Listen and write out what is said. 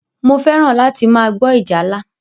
Mo fẹ́ràn láti máa gbọ́ ìjálá.